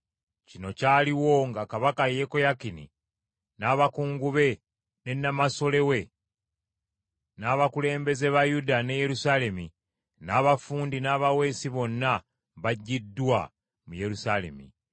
Kino kyaliwo nga kabaka Yekoyakini n’abakungu be ne Namasole we n’abakulembeze ba Yuda ne Yerusaalemi, n’abafundi n’abaweesi bonna baggyiddwa mu Yerusaalemi.